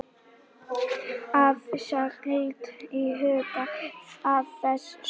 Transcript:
Hafa skal í huga að þessi sjónarmið eru síður en svo andstæð hvert öðru.